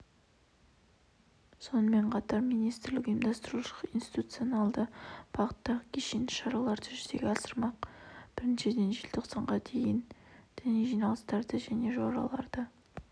сонымен қатар министрлік ұйымдастырушылық-институционалды бағыттағы кешенді шараларды жүзеге асырмақ біріншіден желтоқсанға дейін діни жиналыстарды және жораларды